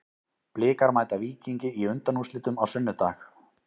Blikar mæta Víkingi í undanúrslitum á sunnudag.